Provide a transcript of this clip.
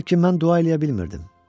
Lakin mən dua eləyə bilmirdim.